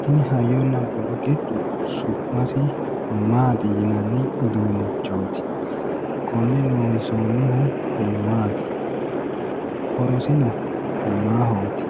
Tini hayyonna budu giddo su'masi maati yinanni uduunnichooti? Konne loonsoonnihu maati? Horosino maahooti?